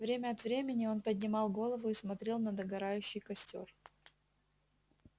время от времени он поднимал голову и смотрел на догорающий костёр